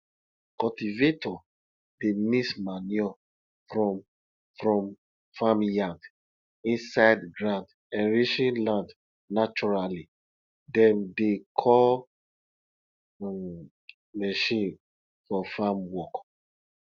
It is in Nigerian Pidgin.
cultivator dey mix manure from from farmyard inside ground enriching land naturally dem dey call um machine for farm work